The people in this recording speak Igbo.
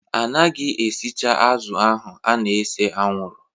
A naghị esecha azụ̀ ahụ a na-ese anwụrụ